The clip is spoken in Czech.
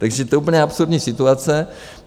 Takže to je úplně absurdní situace.